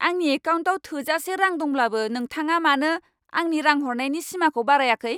आंनि एकाउन्टाव थोजासे रां दंब्लाबो नोंथाङा मानो आंनि रां हरनायनि सिमाखौ बारायाखै!